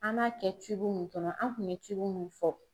An b'a kɛ mun kɔnɔ an kun ye mun fɔ.